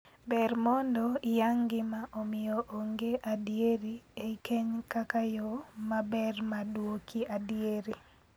Ber mondo iyang gima omiyo onge adieri ei keny kaka yoo maber mar duoko adieri.